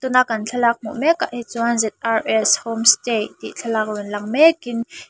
tuna kan thlalak hmu mek ah hi chuan zrs home stay tih thlalak rawn lang mek in--